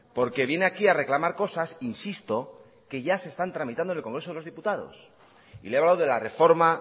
porque viene aquí a reclamar cosas insisto que ya están tramitando en el congreso de los diputados y le he hablado de la reforma